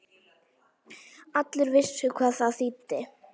Allir vissu hvað það þýddi.